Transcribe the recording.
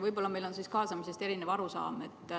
Võib-olla on meil siis kaasamisest erinev arusaam.